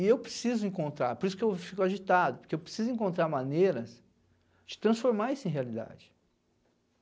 E eu preciso encontrar, por isso que eu fico agitado, porque eu preciso encontrar maneiras de transformar isso em realidade.